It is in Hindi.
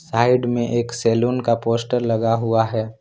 साइड में एक सलुन का पोस्टर लगा हुआ है।